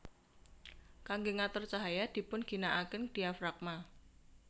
Kangge ngatur cahaya dipun ginakaken diafragma